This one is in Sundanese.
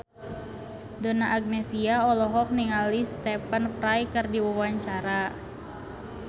Donna Agnesia olohok ningali Stephen Fry keur diwawancara